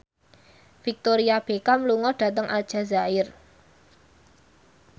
Victoria Beckham lunga dhateng Aljazair